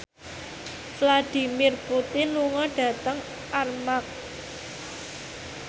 Vladimir Putin lunga dhateng Armargh